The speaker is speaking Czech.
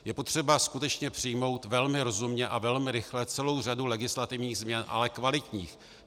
Je potřeba skutečně přijmout velmi rozumně a velmi rychle celou řadu legislativních změn, ale kvalitních.